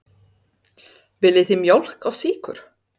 Viljið þið mjólk og sykur?